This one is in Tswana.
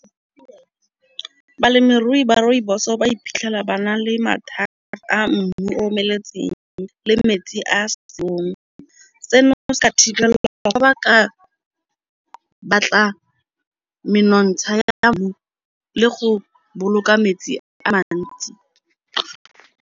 Balemirui ba rooibos-o ba iphitlhela ba na le mathata a mmu omeletseng le metsi a seong. Seno se ka thibelwa ka fa ba ka batla menontsha ya mmu le go boloka metsi a mantsi.